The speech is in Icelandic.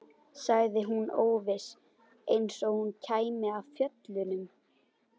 sagði hún óviss, eins og hún kæmi af fjöllum.